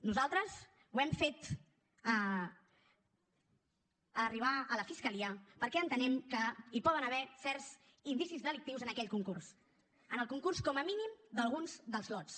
nosaltres ho hem fet arribar a la fiscalia perquè entenem que hi poden haver certs indicis delictius en aquell concurs en el concurs com a mínim d’alguns dels lots